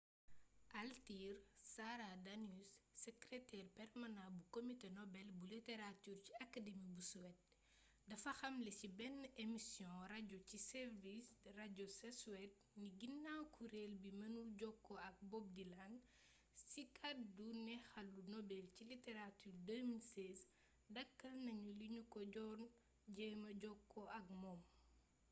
altine sara danius sekreteer permanaa bu comité nobel bu literature ci academi bu suede dafa xamle ci benn emisioŋu rajo ci sveriges radio ca suède ni ginaaw kuréel gi mënul jokkoo ak bob dylan ci ki gàddu neexalu nobel ci literature 2016 dakkal nañu li ñu ko doon jéema jokkoo ak moom